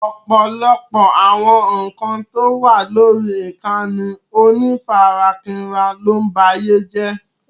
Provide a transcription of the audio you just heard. Ọ̀pọ̀lọpọ̀ àwọn ǹkan tó wà lórí ìkànnì onífarakínra ló ń ba ayé jé.